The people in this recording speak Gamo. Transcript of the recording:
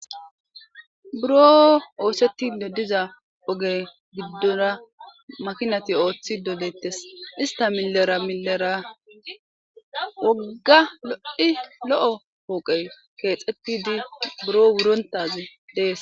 Buro othetido diza oge gidora makinat oothido detes.ista milera milera woga lo'o power othetid buro wurontaz Des.